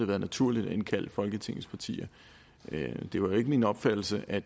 været naturligt at indkalde folketingets partier det var ikke min opfattelse at